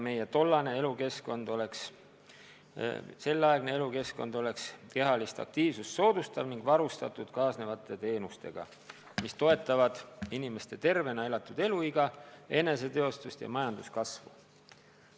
Meie elukeskkond peaks olema kehalist aktiivsust soodustav ning varustatud kaasnevate teenustega, mis toetavad inimeste tervena elatud elu pikenemist, eneseteostust ja majanduskasvu.